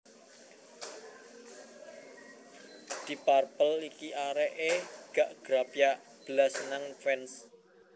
Deep Purple iki arek e gak grapyak blas nang fans